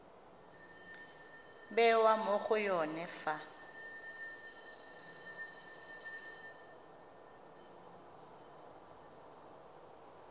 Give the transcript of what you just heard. bewa mo go yone fa